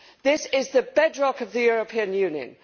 This is the bedrock of the European Union.